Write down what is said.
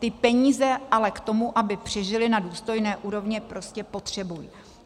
Ty peníze ale k tomu, aby přežily na důstojné úrovni, prostě potřebují.